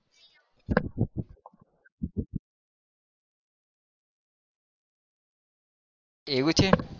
એવું છે?